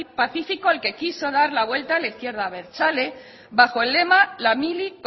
pacífico al que quiso dar la vuelta la izquierda abertzale bajo el lema la mili